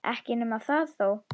Ekki nema það þó!